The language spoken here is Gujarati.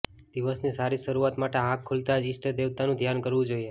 દિવસની સારી શરૂઆત માટે આંખ ખૂલતાં જ ઈષ્ટ દેવતાનું ધ્યાન ધરવું જોઇએ